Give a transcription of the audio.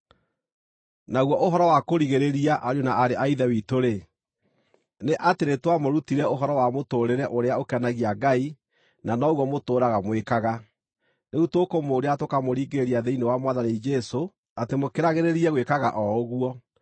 Naguo ũhoro wa kũrigĩrĩria, ariũ na aarĩ a Ithe witũ-rĩ, nĩ atĩ nĩtwamũrutire ũhoro wa mũtũũrĩre, ũrĩa ũkenagia Ngai, na noguo mũtũũraga mwĩkaga. Rĩu tũkũmũũria na tũkamũringĩrĩria thĩinĩ wa Mwathani Jesũ atĩ mũkĩragĩrĩrie gwĩkaga o ũguo.